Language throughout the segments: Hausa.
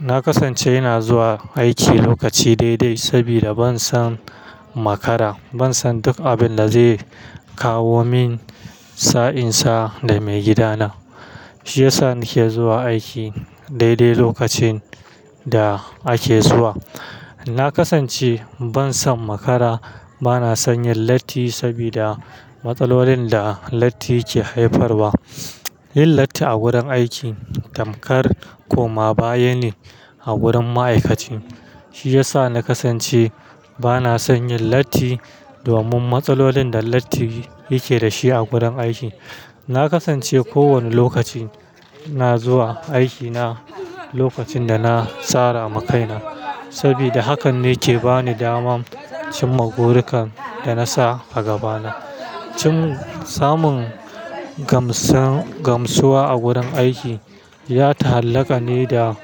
Na kasance ina zuwa aiki lokaci daidai sabida ban son makara, ban son duk abin da zai kawo min sa'insa da maigidana. Shi ya sa nake zuwa aiki daidai lokacin da ake zuwa. Na kasance ban son makara, bana son yin latti sabida matsalolin da latti ke haifarwa. Yin latti a gurin aiki tamkar koma baya ne a gurin ma'aikaci. Shi ya sa na kasance bana son yin latti domin matsalolin da latti yake da shi a gurin aiki. Na kasance kowane lokaci na zuwa aiki na lokacin da na tsara makai na sabida hakan ne ke ba ni daman cimma gorukan da na sa a gabana. Cin samun gamsan-gamsuwa a gurin aiki ya ta'allaka ne da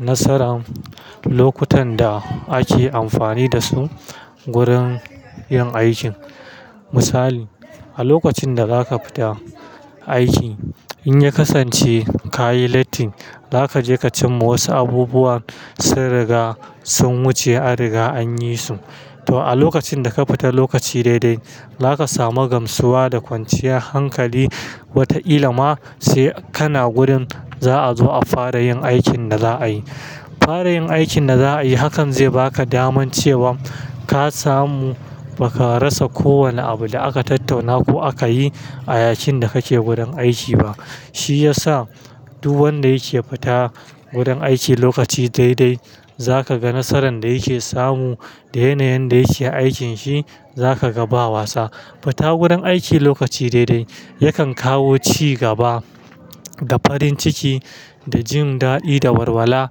nasaran lokutan da ake amfani da su gurin yin aikin. Misali, a lokacin da zaka fita aiki in ya kasance kayi latti, za ka je ka cimma wasu abubuwan sun riga sun wuce a riga an yi su. To, a lokacin da ka fita lokaci daidai, za ka samu gamsuwa da kwanciyar hankali wata illa ma sai kana gurin za a zo a fara yin aikin da za a yi. Fara yin aikin da za a yi hakan zai ba ka daman cewa ka samu ba ka rasa kowane abu da aka tattauna ko aka yi a yakin da kake gurin aiki ba. Shi ya sa duk wanda yake fita gurin aiki lokaci daidai za ka ga nasaran da yake samu da yanayin da yake aikin shi, za ka ga bawa sa. Fita gurin aiki lokaci daidai yakan kawo cigaba da farin ciki da jin da'di da warwala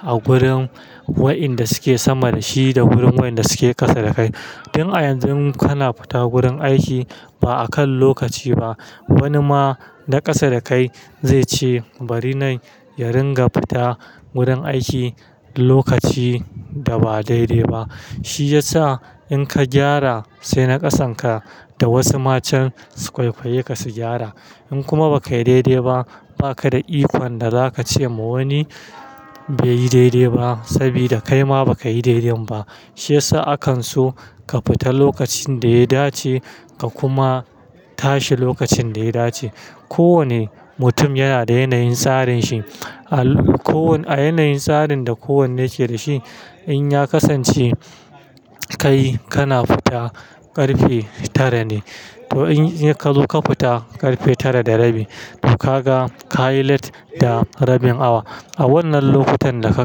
a gurin wa'inda suke sama da shi da gurin wa'inda suke kasa da kai. Tun a yanzu kana fita gurin aiki ba a kan lokaci ba, wani ma na kasa da kai zai ce bari na yi ringa fita gurin aiki lokaci da ba daidai ba. Shi ya sa in ka gyara sai na kasan ka da wasu matan su kwaikwayi ka su gyara. In kuma ba ka yi daidai ba, ba ka da ikon da za ka ce ma wani bai yi daidai ba sabida kai ma ba ka yi daidain ba. Shi ya sa akan so ka fita lokacin da ya dace ka kuma tashi lokacin da ya dace. Ko wane mutum yana da yanayin tsarin shi. A ko wanne-- a yanayin tsarin da kowanne yake da shi, in ya kasance kai kana fita ƙarfe tara ne, to in ya ka zo ka fita ƙarfe tara da rabi, to ka ga ka yi latti da rabin awa. A wannan lokutan da ka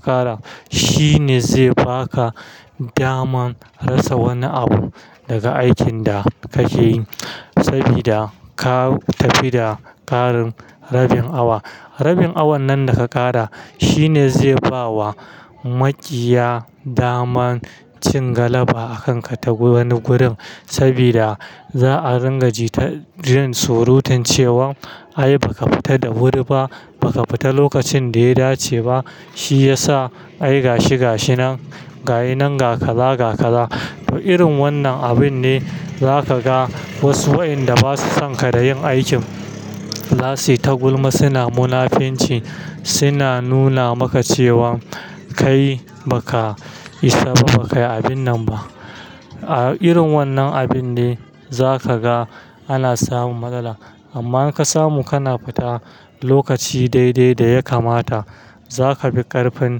ƙara shi ne zai ba ka daman rasa wani abu daga aikin da kake yi sabida ka tafi da ƙarin rabin awa. Rabin awan nan da ka ƙara shi ne zai ba wa maƙiya daman cin galaba a kan ka ta wani gurin sabida za a ringa jita jan surutan cewa ai ba ka fita da wuri ba, ba ka fita lokacin da ya dace ba. Shi ya sa ai gashi gashinan, ga inan ga kaza ga kaza. To, irin wannan abun ne za ka ga wasu wa'inda ba su son ka da yin aikin za su yi ta gulma, suna munafunci, suna nuna maka cewa kai ba ka isa ba, ba ka yi abin nan ba. A irin wannan abun ne za ka ga ana samun matsala. Amma in ka samu kana fita lokaci daidai da ya kamata, za ka fi ƙarfin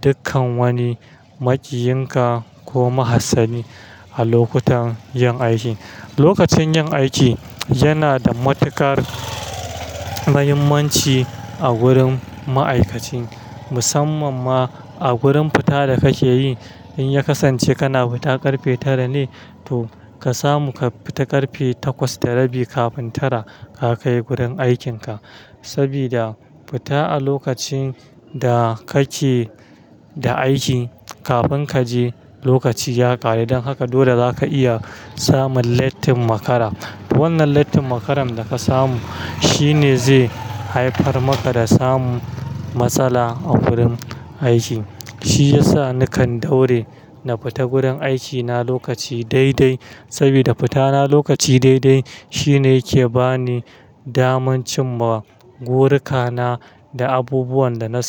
dukkan wani maƙiyin ka ko mahassani a lokutan yin aiki. Lokacin yin aiki yana da matuƙar muhimmanci a gurin ma'aikaci, musamman ma a gurin fita da kake yi. In ya kasance kana fita ƙarfe tara ne, to ka samu ka fita ƙarfe takwas da rabi kafin tara ka kai gurin aikin ka sabida fita a lokacin da kake da aiki kafin kaje lokaci ya ƙare don haka dole za ka iya samun latti makara. Wannan latti makaran da ka samu shi ne zai haifar maka da samun matsala a gurin aiki. Shi ya sa nakan daure na fita gurin aikina lokaci daidai sabida fitana lokaci daidai shi ne yake ba ni daman cimma goruka na da abubuwan da na sani.